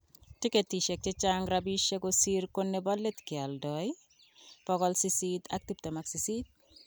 Tiketishek chechang rapishek kosir ko nebo let kioldo�828.